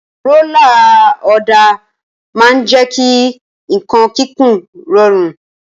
Rólà ọ̀dà máa ń jẹ́ kí nǹkan kíkùn rọrùn.